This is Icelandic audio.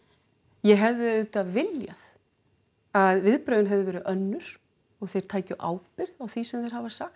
ég hefði auðvitað viljað að viðbrögðin hefðu verið önnur og þeir tækju ábyrgð á því sem þeir hafa sagt